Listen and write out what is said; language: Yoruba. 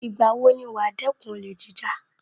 Ìgbà wo ni wàá dẹ́kun olè jíjà